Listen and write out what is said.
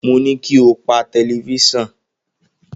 Mo ní kí o pa tẹlifísàn.